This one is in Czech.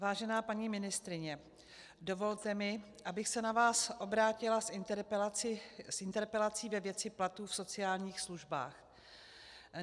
Vážená paní ministryně, dovolte mi, abych se na vás obrátila s interpelací ve věci platů v sociálních službách.